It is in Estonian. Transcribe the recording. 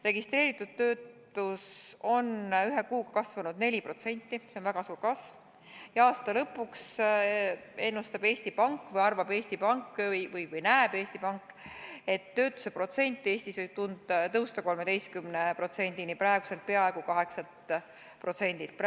Registreeritud töötus on ühe kuuga kasvanud 4%, see on väga suur kasv, ja aasta lõpuks ennustab Eesti Pank või arvab või näeb Eesti Pank, et töötuse protsent Eestis võib tõusta 13%-ni praeguselt peaaegu 8%-lt.